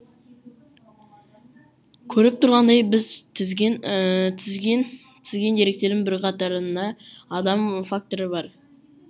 көріп тұрғандай біз тізген тізген тізген деректердің бірқатарында адам факторы бар